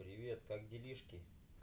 привет как делишки